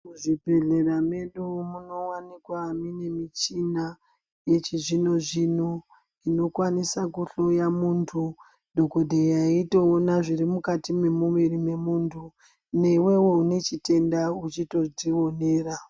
Muzvibhedhlera medu munowanikwa mune muchinia yechizvino-zvino inokwanisa kuhloya muntu, dhokodheya eitoona zviri mukati memuviri memuntu newewo une chitenda uchitodzionera.